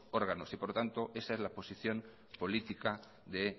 órganos y por lo tanto esa es la posición política de